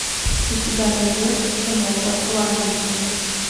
у тебя найдется кино посланники